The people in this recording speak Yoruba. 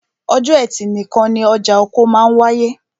Ọjọ́ ẹtì nìkan ni ọjà oko máa wááyé